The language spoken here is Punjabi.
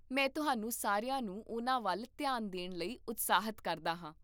ਮੈਂ ਤੁਹਾਨੂੰ ਸਾਰਿਆਂ ਨੂੰ ਉਹਨਾਂ ਵੱਲ ਧਿਆਨ ਦੇਣ ਲਈ ਉਤਸ਼ਾਹਿਤ ਕਰਦਾ ਹਾਂ